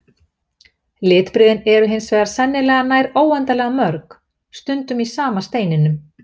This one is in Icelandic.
Litbrigðin eru hins vegar sennilega nær óendanlega mörg, stundum í sama steininum.